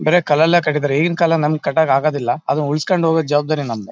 ಬರೇ ಕಲ್ಲಲ್ಲೇ ಕಟ್ಟಿದ್ದಾರೆ ಈಗಿನ್ ಕಾಲದಲ್ ನಮ್ಗ್ ಕಟ್ಟಕ್ ಆಗೋದಿಲ್ಲ ಅದನ್ ಉಳ್ಸ್ಕೊಂಡ್ ಹೋಗೋ ಜವಾಬ್ದಾರಿ ನಮ್ದು .